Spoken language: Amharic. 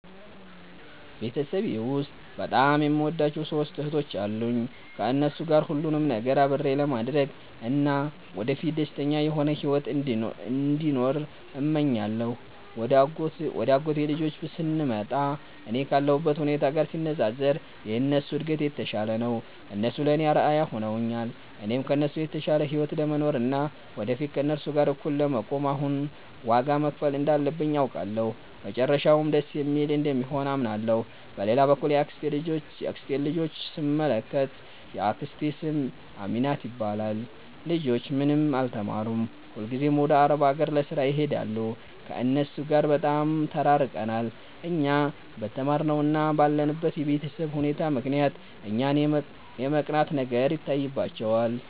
ቤተሰቤ ውስጥ በጣም የምወዳቸው ሦስት እህቶች አሉኝ። ከእነሱ ጋር ሁሉንም ነገር አብሬ ለማድረግ እና ወደፊት ደስተኛ የሆነ ሕይወት እንዲኖረን እመኛለሁ። ወደ አጎቴ ልጆች ስንመጣ፣ እኔ ካለሁበት ሁኔታ ጋር ሲነጻጸር የእነሱ እድገት የተሻለ ነው። እነሱ ለእኔ አርአያ ሆነውኛል። እኔም ከእነሱ የተሻለ ሕይወት ለመኖር እና ወደፊት ከእነሱ ጋር እኩል ለመቆም አሁን ዋጋ መክፈል እንዳለብኝ አውቃለሁ፤ መጨረሻውም ደስ የሚል እንደሚሆን አምናለሁ። በሌላ በኩል የአክስቴን ልጆች ስንመለከት፣ የአክስቴ ስም አሚናት ይባላል። ልጆቿ ምንም አልተማሩም፤ ሁልጊዜም ወደ አረብ አገር ለሥራ ይሄዳሉ። ከእነሱ ጋር በጣም ተራርቀናል። እኛ በተማርነው እና ባለንበት የቤተሰብ ሁኔታ ምክንያት እኛን የመቅናት ነገር ይታይባቸዋል